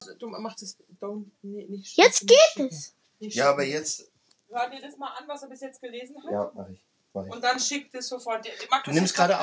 En margt hafði breyst.